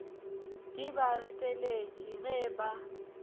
di ba reteletše ge ba